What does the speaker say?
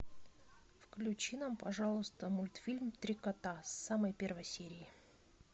включи нам пожалуйста мультфильм три кота с самой первой серии